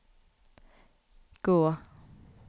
gå